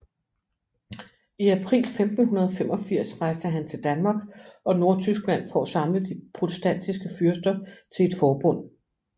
I april 1585 rejste han til Danmark og Nordtyskland for at samle de protestantiske fyrster til et forbund